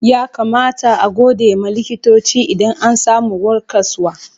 Ya kamata a gode ma likitoci idan an samu warkaswa?